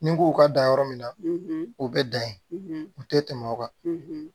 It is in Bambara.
Ni n k'u ka dan yɔrɔ min na o bɛ dan ye u tɛ tɛmɛ o kan